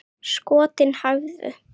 Skotin hæfðu!